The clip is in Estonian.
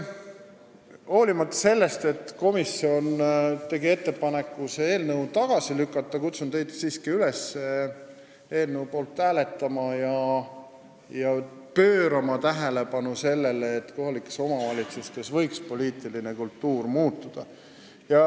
Hoolimata sellest, et komisjon tegi ettepaneku see eelnõu tagasi lükata, kutsun teid siiski üles eelnõu poolt hääletama ja pöörama tähelepanu sellele, et kohalikes omavalitsustes võiks poliitiline kultuur muutuda.